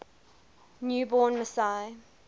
new born messiah